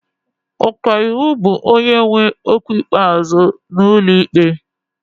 Ọka iwu bụ onye nwe okwu ikpeazụ n'ụlọ ikpe.